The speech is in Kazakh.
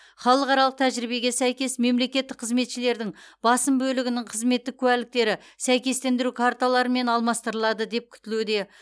халықаралық тәжірибеге сәйкес мемлекеттік қызметшілердің басым бөлігінің қызметтік куәліктері сәйкестендіру карталарымен алмастырылады деп күтілуде